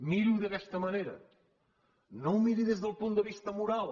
miri ho d’aquesta manera no ho miri des del punt de vista moral